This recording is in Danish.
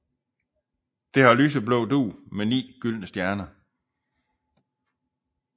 Det har lyseblå dug med ni gyldne stjerner